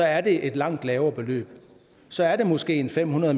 at det er et langt lavere beløb så er det måske fem hundrede